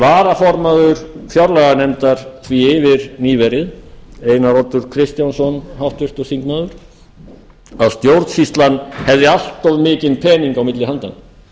varaformaður fjárlaganefndar því yfir nýverið háttvirtur þingmaður einar oddur kristjánsson að stjórnsýslan hefði allt of mikinn pening á milli handanna